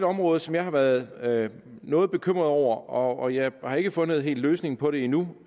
område som jeg har været været noget bekymret over og jeg har ikke helt fundet en løsning på det endnu